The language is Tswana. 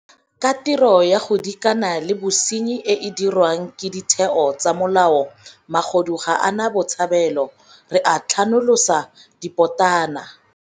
Ka tiro ya go dikana le bosenyi e e diriwang ke ditheo tsa molao magodu ga a na botshabelo - re a tlhanolosa dipotana.